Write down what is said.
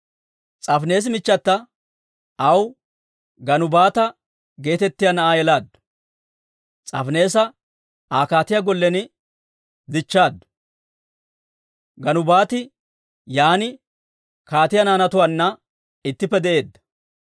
S'aafineesi michchata aw Ganubaata geetettiyaa na'aa yelaaddu. S'aafineesa Aa kaatiyaa gollen dichchaaddu; Ganubaati yaan kaatiyaa naanatuwaanna ittippe de'eedda.